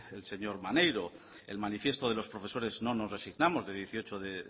el señor maneiro el manifiesto de los profesores no nos resignamos de dieciocho de